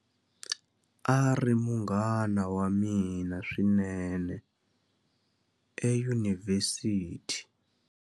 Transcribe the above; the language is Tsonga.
A ri munghana wa mina swinene eyunivhesiti.